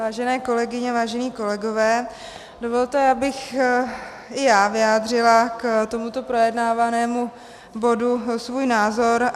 Vážené kolegyně, vážení kolegové, dovolte, abych i já vyjádřila k tomuto projednávanému bodu svůj názor.